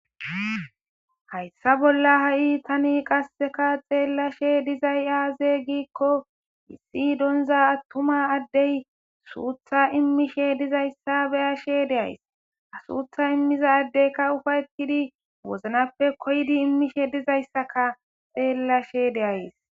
Hayssa bolla ha'i tani qasseka xeellashe dizay aaze giikko issi donza attuma addey suutha immishe dizayssa beyashe deays asuutha immiza addeyka ufaytidi woznappe koydi immishe dizayssaka xeellashe deays.